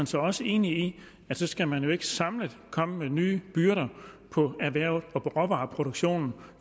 så også enig i at så skal man ikke samlet komme med nye byrder på erhvervet og på råvareproduktionen